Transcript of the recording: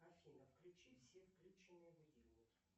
афина включи все включенные будильники